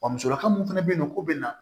Wa musolaka mun fana bɛ yen nɔ k'o bɛ na